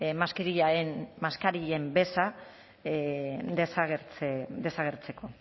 maskarillaren beza desagertzeko